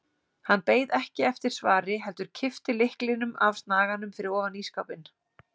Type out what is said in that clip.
Hann beið ekki eftir svari heldur kippti lyklinum af snaganum fyrir ofan ísskápinn.